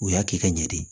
U y'a kɛ ka ɲɛ de